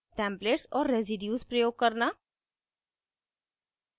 templates और residues प्रयोग करना